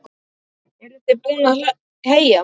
Eruð þið búin að heyja?